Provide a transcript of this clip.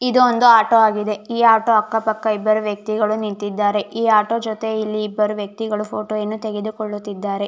ಇದೊಂದು ಆಟೋ ಆಗಿದೆ ಈ ಆಟೋ ಅಕ್ಕ ಪಕ್ಕ ಇಬ್ಬರು ವ್ಯಕ್ತಿಗಳು ನಿಂತಿದ್ದಾರೆ ಈ ಆಟೋ ಜೊತೆ ಇಲ್ಲಿ ಇಬ್ಬರು ವ್ಯಕ್ತಿಗಳು ಫೋಟೋ ವನ್ನು ತೆಗೆದುಕೊಳ್ಳುತ್ತಿದ್ದಾರೆ .